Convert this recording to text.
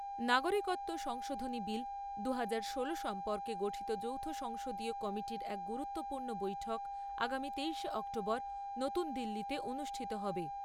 নাগরিকত্ব সংশোধনী বিল দুহাজার ষোলো সম্পর্কে গঠিত যৌথ সংসদীয় কমিটির এক গুরুত্বপূর্ণ বৈঠক আগামী তেইশে অক্টোবর নতুন দিল্লীতে অনুষ্ঠিত হবে।